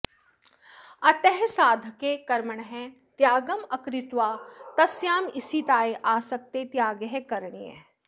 अतः साधकः कर्मणः त्यागम् अकृत्वा तस्यां स्थितायः आसक्तेः त्यागः करणीयः